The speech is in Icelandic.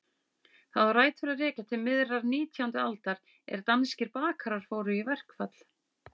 Það á rætur að rekja til miðrar nítjándu aldar er danskir bakarar fóru í verkfall.